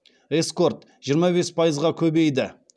эскорт жиырма бес пайызға көбейді